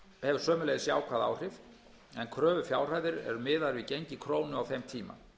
hefur sömuleiðis jákvæð áhrif en kröfufjárhæðir eru miðaðar við gengi krónu á þeim tíma